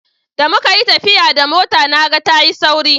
da muka yi tafiya da mota na ga ta yi sauri